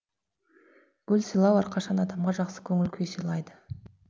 гүл сыйлау әрқашан адамға жақсы көңіл күй сыйлайды